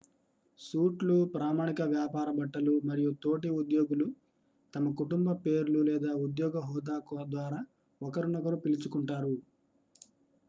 suit లు ప్రామాణిక వ్యాపార బట్టలు మరియు తోటి ఉద్యోగులు తమ కుటుంబ పేర్లు లేదా ఉద్యోగ హోదా ద్వారా ఒకరినొకరు పిలుచుకుంటారు